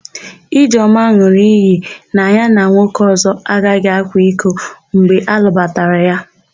Ijeọma n̄ụrụ iyi na ya na nwoke ọ̀zọ́ agaghị akwa iko mgbe a lụbatara ya.